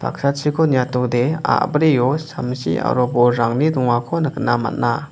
niatode a·brio samsi aro bolrangni dongako nikna man·a.